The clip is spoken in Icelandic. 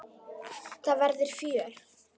Það verður fjör.